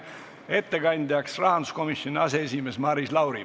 Ettekandja on rahanduskomisjoni aseesimees Maris Lauri.